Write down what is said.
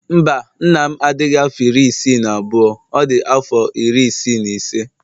Mba, nna m adighị afọ iri isii na abụọ, ọ dị afọ iri isii na ise